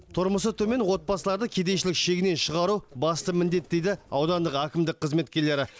тұрмысы төмен отбасыларды кедейшілік шегінен шығару басты міндет дейді аудандық әкімдік қызметкерлері